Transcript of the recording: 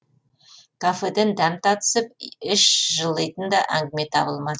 кафеден дәм татысып іш жылитын да әңгіме табылма